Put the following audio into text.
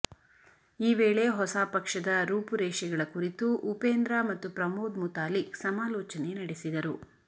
ಈ ವೇಳೆ ಹೊಸ ಪಕ್ಷದ ರೂಪುರೇಷೆಗಳ ಕುರಿತು ಉಪೇಂದ್ರ ಮತ್ತು ಪ್ರಮೋದ್ ಮುತಾಲಿಕ್ ಸಮಾಲೋಚನೆ ನಡೆಸಿದರು